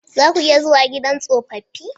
Za ku iya zuwa gidan tsofaffi?